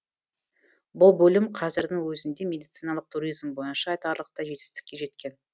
бұл бөлім қазірдің өзінде медициналық туризм бойынша айтарлықтай жетістікке жеткен